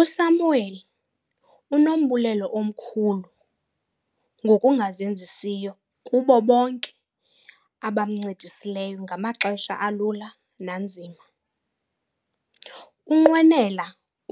USamuel unombulelo omkhulu ngokungazenzisiyo kubo bonke abamncedisileyo ngamaxesha alula nanzima. Unqwenela